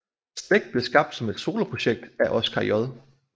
Slægt blev skabt som et soloprojekt af Oskar J